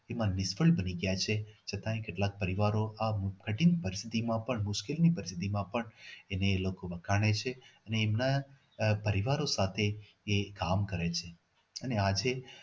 તેમાં નિષ્ફળ બની ગયા છે છતાંય કેટલાક પરિવારો આ કઠિણ પરિસ્થિતિમાં પણ મુશ્કિલ ની પરિસ્થિતિમાં પણ એને લોકો વખાણે છે અને એમના પરિવારો સાથે એ કામ કરે છે અને આજે